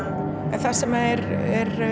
en það sem er